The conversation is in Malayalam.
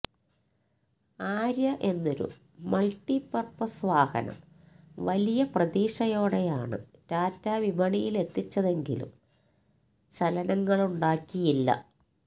ആര്യ എന്നൊരു മള്ട്ടിപര്പ്പസ് വാഹനം വലിയ പ്രതീക്ഷയോടെയാണ് ടാറ്റ വിപണിയിലെത്തിച്ചതെങ്കിലും ചലനങ്ങളുണ്ടാക്കിയില്ല